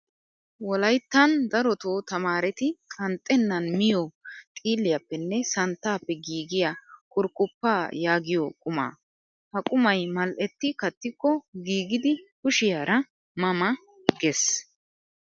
Wolayittan darotoo tamaareti qanxxennan miyoo xiilliyaappenne santtaappe giigiyaa kurkkuppaa yaagiyoo qumaa. Ha qumayi mal''etti kattikko giigidi kushiyaara ma ma ges.